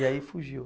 E aí fugiu?